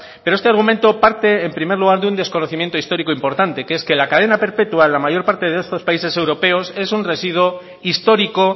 pero este argumento parte en primer lugar de un desconocimiento histórico importante que es que la cadena perpetua en la mayor parte de estos países europeos es un residuo histórico